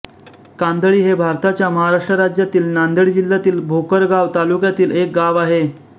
कांदळी हे भारताच्या महाराष्ट्र राज्यातील नांदेड जिल्ह्यातील भोकर गाव तालुक्यातील एक गाव आहे